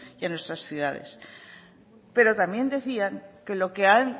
y a nuestras ciudades pero también decían que